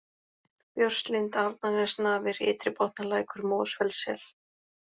Björnslind, Arnarnesnafir, Ytribotnalækur, Mosfellssel